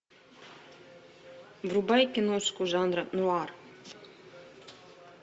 врубай киношку жанра нуар